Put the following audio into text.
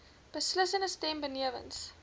beslissende stem benewens